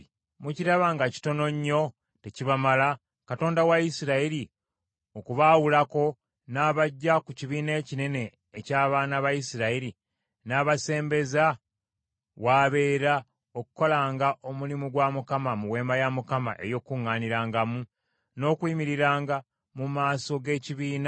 Mukiraba nga kitono nnyo tekibamala, Katonda wa Isirayiri okubaawulako n’abaggya ku kibiina ekinene eky’abaana ba Isirayiri n’abasembeza w’abeera okukolanga omulimu gwa Mukama mu Weema ya Mukama , n’okuyimiriranga mu maaso g’ekibiina n’okubaweereza?